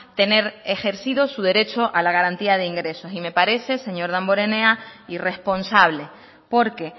tener ejercido su derecho a la garantía de ingresos y me parece señor damborenea irresponsable porque